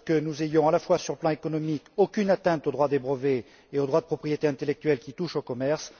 qu'il ne soit commis, y compris sur le plan économique, aucune atteinte au droit des brevets et au droit de propriété intellectuelle qui touchent au commerce.